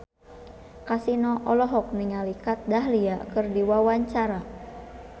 Kasino olohok ningali Kat Dahlia keur diwawancara